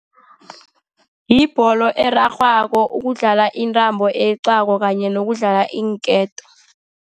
Yibholo erarhwako, ukudlala intambo eyeqwako, kanye nokudlala iinketo.